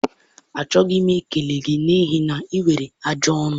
Achọghị m ikele gị ekele, n'ihi na ị nwere ajọ ọnụ.